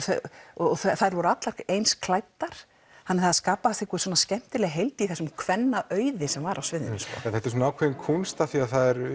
og þær voru allar eins klæddar þannig það skapaðist skemmtileg heild í þessum kvennaauði sem var á sviðinu já þetta er svona ákveðin kúnst af því